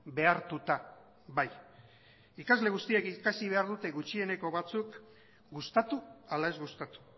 behartuta bai ikasle guztiek ikusi behar dute gutxieneko batzuk gustatu ala ez gustatu